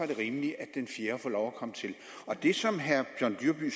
det rimeligt at den fjerde får lov at komme til det som herre john dyrby